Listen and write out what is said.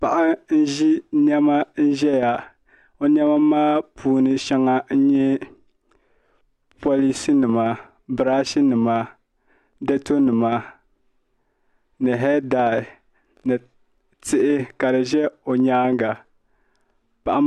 Paɣa n ʒi niɛma ƶɛya o niɛma maa puuni shɛŋa n nyɛ polish nima birash nima dato nima ni hee dai ni tihi ka di ʒɛ o nyaanga paɣa maa